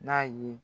N'a ye